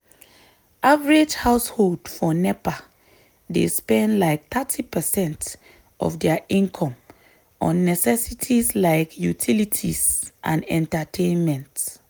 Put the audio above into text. average household for nepa dey spend like thirty percent of dia income on necessities like utilities and entertainment.